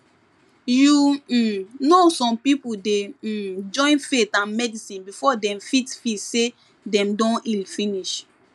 you um know some people dey um join faith and medicine before dem fit feel say dem don heal finish